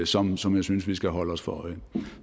som som jeg synes vi skal holde os for øje